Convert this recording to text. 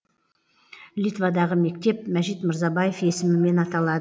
литвадағы мектеп мәжит мырзабаев есімімен аталад